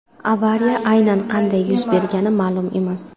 Avariya aynan qanday yuz bergani ma’lum emas.